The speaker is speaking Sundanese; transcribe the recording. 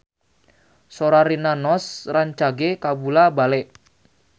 Sora Rina Nose rancage kabula-bale